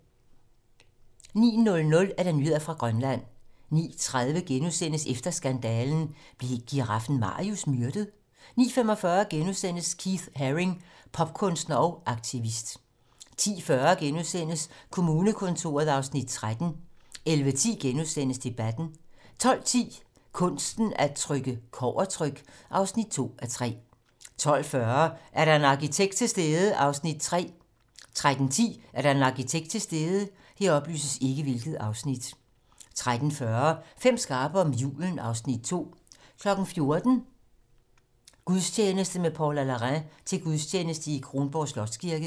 09:00: Nyheder fra Grønland 09:30: Efter skandalen - Blev giraffen Marius myrdet? * 09:45: Keith Haring: Popkunstner og aktivist * 10:40: Kommunekontoret (Afs. 13)* 11:10: Debatten * 12:10: Kunsten at trykke - Kobbertryk (2:3) 12:40: Er der en arkitekt til stede? (Afs. 3) 13:10: Er der en arkitekt til stede? 13:40: Fem skarpe om julen (Afs. 2) 14:00: Gudstjeneste: Med Paula Larrain til gudstjeneste i Kronborg Slotskirke